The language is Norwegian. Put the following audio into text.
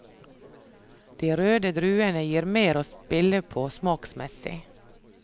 De røde druene gir mer å spille på smaksmessig.